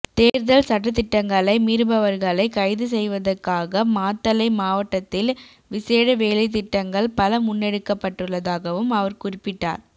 தேர்தல் சட்டதிட்டங்களை மீறுபவர்களை கைதுசெய்வதுக்காக மாத்தளை மாவட்டத்தில் விசேட வேலைத்திட்டங்கள் பல முன்னெடுக்கப்பட்டுள்ளதாகவும் அவர் குறிப்பிட்டார்